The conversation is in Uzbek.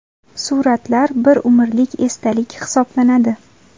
Suratlar – bir umrlik esdalik hisoblanadi.